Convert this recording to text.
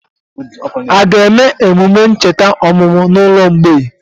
Aga eme emume ncheta ọmụmụ na ụlọ mgbei?